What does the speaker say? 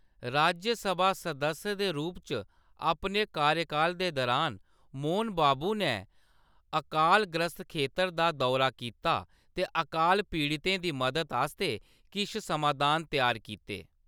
राज्यसभा सदस्य दे रूप च अपने कार्यकाल दे दरान, मोहन बाबू नै अकालग्रस्त खेतर दा दौरा कीता ते अकाल पीड़ितें दी मदद आस्तै किश समाधान त्यार कीते।